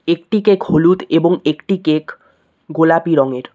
একটি কেক হলুদ এবং একটি কেক গোলাপি রঙের।